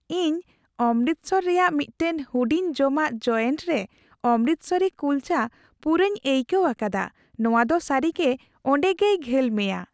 ᱤᱧ ᱚᱢᱨᱤᱛᱥᱚᱨ ᱨᱮᱭᱟᱜ ᱢᱤᱫᱴᱟᱝ ᱦᱩᱰᱤᱧ ᱡᱚᱢᱟᱜ ᱡᱳᱭᱮᱱᱴ ᱨᱮ ᱚᱢᱨᱤᱛᱥᱚᱨᱤ ᱠᱩᱞᱪᱟ ᱯᱩᱨᱟᱹᱧ ᱟᱹᱭᱠᱟᱹᱣ ᱟᱠᱟᱫᱟ ᱾ ᱱᱚᱣᱟ ᱫᱚ ᱥᱟᱹᱨᱤᱜᱮ ᱚᱸᱰᱮᱜᱮᱭ ᱜᱷᱟᱹᱞ ᱢᱮᱭᱟ ᱾